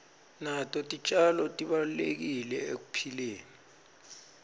nato titjalo tibalulekile ekuphileni